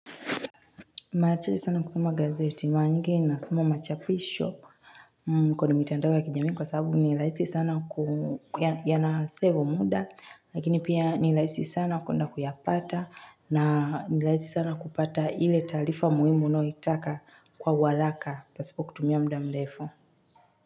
Mara chache sana kusoma gazeti mara nyingi nasoma machapisho. Kwenye mitandao ya kijamii kwa sababu ni rahisi sana, yanasevu muda. Lakini pia ninhaisi sana kuenda kuyapata. Na ni rahisi sana kupata ile taarifa muhimu unayoitaka kwa uharaka. Pasipo kutumia muda mrefu.